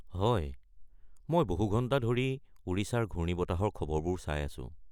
হয়, মই বহুঘণ্টা ধৰি ওড়িশাৰ ঘূৰ্ণিবতাহৰ খবৰবোৰ চাই আছো।